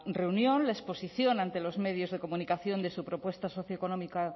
reunión la exposición ante los medios de comunicación de su propuesta socioeconómica